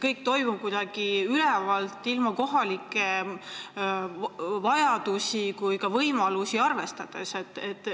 Kõik toimub kuidagi üleval, kohalikke vajadusi või võimalusi arvestamata.